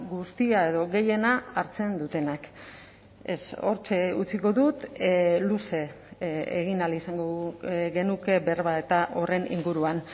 guztia edo gehiena hartzen dutenak ez hortxe utziko dut luze egin ahal izango genuke berba eta horren inguruan